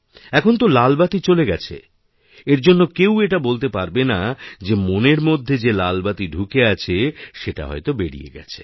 এখন তো লাল বাতি চলে গেছে এর জন্য কেউ এটা বলতে পারবে না যে মনের মধ্যে যেলাল বাতি ঢুকে আছে সেটা হয়ত বেড়িয়ে গেছে